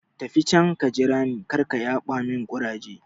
Tafi can ka jira ni, karka yaɓa mun ƙuraje